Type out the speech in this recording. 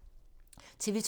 TV 2